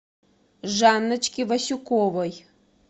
жанночки васюковой